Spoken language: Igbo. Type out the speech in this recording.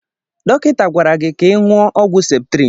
Dọkịta gwara gị ka ị ṅụọ ọgwụ septrin.